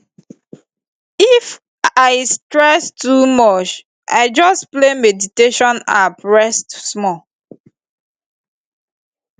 if stress too much i just play meditation app reset small